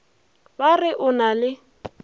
ba re o na le